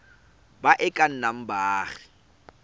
ba e ka nnang baagi